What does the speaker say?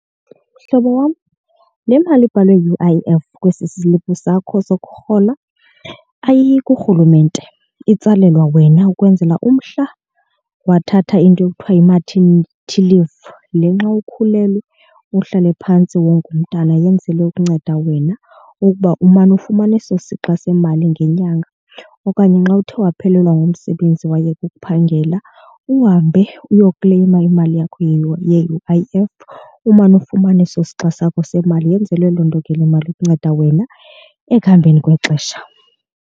Mhlobo wam, le mali ibhalwe U_I_F kwesi siliphu sakho sokurhoLa ayiyi kurhulumente itsalelwa wena ukwenzela mhla wathatha into ekuthiwa yi-martenity leave, le nxa ukhulelwe uhlale phantsi wonge umntana, yenzelwe ukunceda wena ukuba umane ufumana eso sixa semali ngenyanga. Okanye xa uthe waphelelwa ngumsebenzi wayeka uphangela uhambe uyo kukleyima imali yakho ye-U_I_F umane ufumana ese sixa sakho semali. Yenzelwe loo nto ke le mali ukunceda wena ekuhambeni kwexesha.